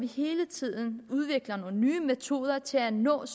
hele tiden udvikler nogle nye metoder til at nå